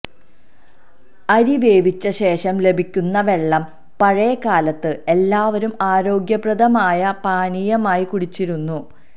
അരിവേവിച്ച ശേഷം ലഭിക്കുന്ന വെള്ളം പഴയ കാലത്ത് എല്ലാവരും ആരോഗ്യപ്രദമായ പാനീയമായി കുടിച്ചിരുന്നു